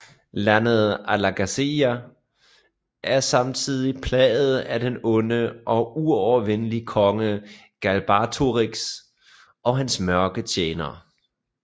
Landet Alagaësia er samtidig plaget af den onde og uovervindelige konge Galbatorix og hans mørke tjenere